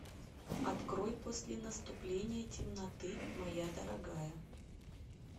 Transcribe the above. открой после наступления темноты моя дорогая